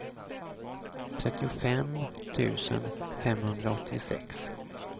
trettiofem tusen femhundraåttiosex